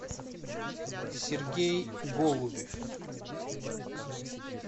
сергей голубев